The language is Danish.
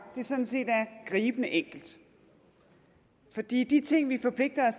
sådan set er gribende enkelt fordi de ting vi forpligter